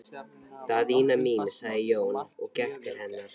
Daðína mín, sagði Jón og gekk til hennar.